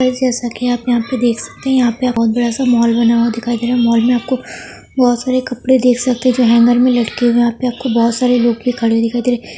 Guys जैसा कि आप यहाँ पे देख सकते हैं यहाँ पे बहुत बड़ा सा मॉल बना हुआ दिखाई दे रहा है मॉल में आपको बहोत सारे कपड़े देख सकते हैं जो हैंगर में लटके हुए हैं यहाँ पे आपको बहोत सारे लोग भी खड़े हुए दिखाई दे रहे हैं।